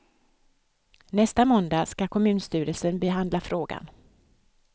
Nästa måndag skall kommunstyrelsen behandla frågan.